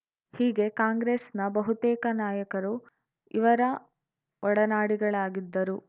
ಹೀಗೆ ಕಾಂಗ್ರೆಸ್‌ನ ಬಹುತೇಕ ನಾಯಕರು ಇವರ ಒಡನಾಡಿಗಳಾಗಿದ್ದರು